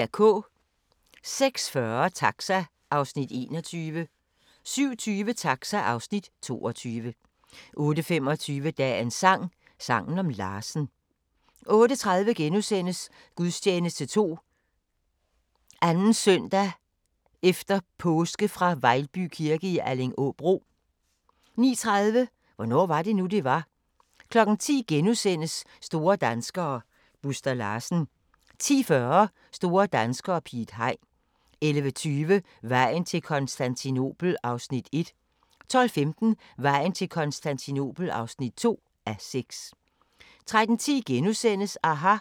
06:40: Taxa (Afs. 21) 07:20: Taxa (Afs. 22) 08:25: Dagens sang: Sangen om Larsen 08:30: Gudstjeneste 2. søndag efter påske fra Vejlby kirke i Allingåbro * 09:30: Hvornår var det nu, det var? 10:00: Store danskere - Buster Larsen * 10:40: Store danskere - Piet Hein 11:20: Vejen til Konstantinopel (1:6) 12:15: Vejen til Konstantinopel (2:6) 13:10: aHA! *